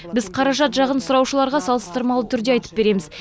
біз қаражат жағын сұраушыларға салыстырмалы түрде айтып береміз